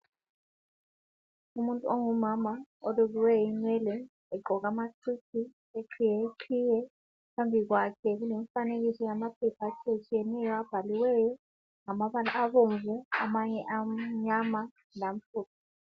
Umuntu ongumama olukileleyo inwele zakhe phambi kwakhe wafaka iqhiye emile phambi kwamaphetshana abhalwe ngamabala abomnvu amanye ngamhlophe.